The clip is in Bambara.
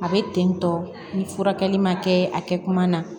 A bɛ ten tɔ ni furakɛli ma kɛ a kɛ kuma na